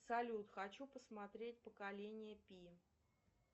салют хочу посмотреть поколение пи